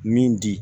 Min di